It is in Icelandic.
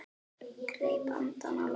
Greip andann á lofti.